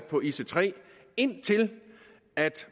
på ic3 indtil